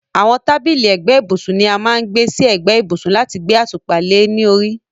àwọn tábìlì ẹ̀gbẹ́ ibùsùn ni a má ń gbé sí ẹ̀gbẹ́ ibùsùn láti gbé àtùpà le ní orí